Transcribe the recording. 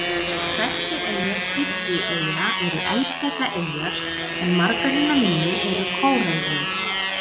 Stærstu eyjar Fídjieyja eru eldfjallaeyjar en margar hinna minni eru kóralrif.